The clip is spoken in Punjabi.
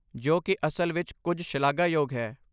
ਜੋ ਕਿ ਅਸਲ ਵਿੱਚ ਕੁਝ ਸ਼ਲਾਘਾਯੋਗ ਹੈ